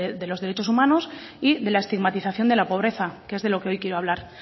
de los derechos humanos y de la estigmatización de la pobreza que es de lo que hoy quiero hablar